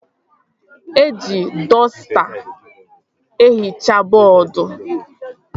Eji dọsta ehichaa bọọdu